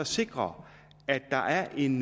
sikre at der er en